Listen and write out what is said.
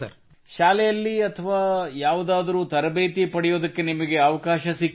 ಇಲ್ಲ ಶಾಲೆಯಲ್ಲಿ ನಮಗೆ ಈಗಾಗಲೇ ಸ್ವಲ್ಪ ತರಬೇತಿ ದೊರೆತಿರುತ್ತದೆ no in school we have already get some training